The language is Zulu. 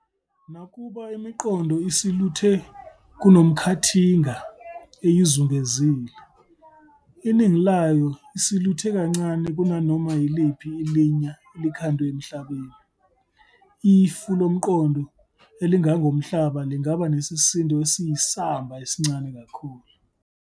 Nakuba imiqongo isiluthe kunomkhathinga eyizungezile, iningi layo isiluthe kancane kunanoma iliphi ilinya elikhandwe emhlabeni - ifu lomqongo elingangomhlaba lingaba nesisindo esiyisamba esincane kakhulu.